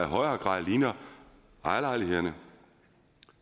højere grad ligner ejerlejligheden